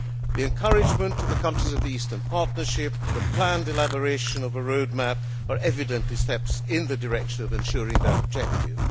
The encouragement of the countries of the Eastern Partnership and the planned elaboration of a road map are evidently steps in the direction of ensuring that objective.